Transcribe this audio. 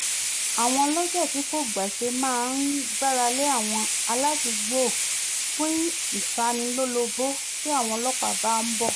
àwọn olọ́jà tí kò gbàṣe máa gbáralé àwọn aládùúgbò fún ìtalólobó tí àwọn ọlọ́pàá bá ń bọ̀